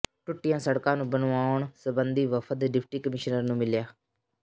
ਟੁੱਟੀਆਂ ਸੜਕਾਂ ਨੂੰ ਬਣਵਾਉਣ ਸਬੰਧੀ ਵਫ਼ਦ ਡਿਪਟੀ ਕਮਿਸ਼ਨਰ ਨੂੰ ਮਿਲਿਆ